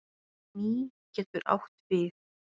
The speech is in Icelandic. Mý getur átt við